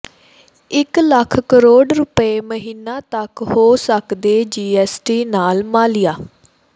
ਇਕ ਲੱਖ ਕਰੋੜ ਰੁਪਏ ਮਹੀਨਾ ਤੱਕ ਹੋ ਸਕਦੈ ਜੀਐੱਸਟੀ ਨਾਲ ਮਾਲੀਆ